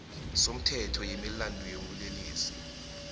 somthetho wemilandu yobulelesi